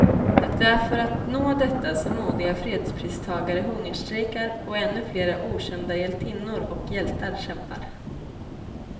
Det är för att nå detta som modiga fredspristagare hungerstrejkar, och ännu flera okända hjältinnor och hjältar kämpar.